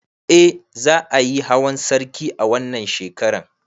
Eh za ayi hawan sarki a wannan shekaran